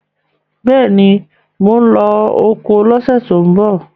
Bẹ́ẹ̀ ni, mò ń lọ oko lọ́sẹ̀ tó ń bọ̀